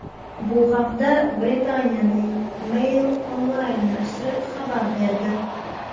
Bu haqda Britaniyaning Mail Online nashri xabar berdi .